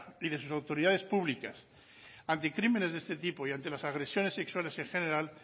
y de sus autoridades públicas ante crímenes de este tipo y ante las agresiones sexuales en general